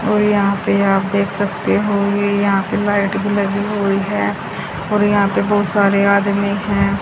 और यहां पे आप देख सकते हो ये यहां पे लाइट भी लगी हुई है और यहां पे बहुत सारे आदमी हैं।